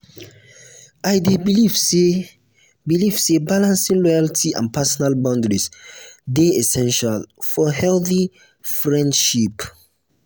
i dey believe say believe say balancing loyalty and personal boundaries dey essential for healthy friendships.